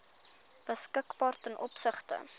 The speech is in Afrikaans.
beskikbaar ten opsigte